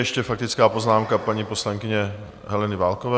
Ještě faktická poznámka paní poslankyně Heleny Válkové.